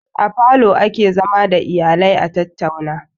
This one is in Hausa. A falo ake zama da iyalaia tattauna